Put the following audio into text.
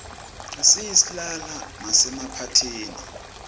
siyislala masemaphathini